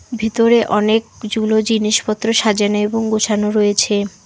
ভিতরে অনেকজুলো জিনিসপত্র সাজানো এবং গোছানো রয়েছে।